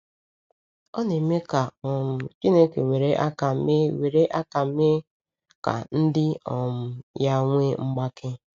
Ọ na-eme ka um Chineke were aka mee were aka mee ka ndị um ya nwee mgbake.